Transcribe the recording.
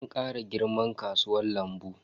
An kara girman kasuwan lambu.